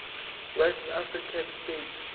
west african states